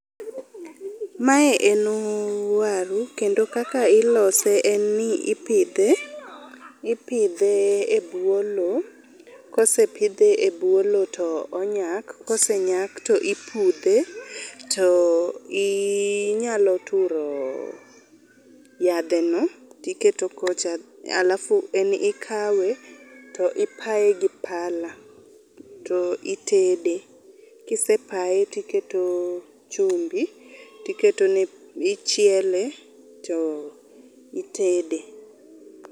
Mae en waru kendo kaka ilose en ni ipidhe, ipidhe e bwo lo. Kosepidhe e bwo lo to onyak, kosenyak to ipudhe to inyalo turo yadhe no tiketo kocha alafu en ikawe to ipaye gi pala to itede. Kisepae tiketo chumbi tiketone, ichiele to itede.